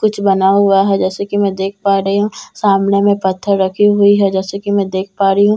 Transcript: कुछ बना हुआ है जैसे कि‍ मैं देख पा रही हूं सामने में पत्‍थर रखे हुए हैं जैसे के मैं देख पा रही हूं अन--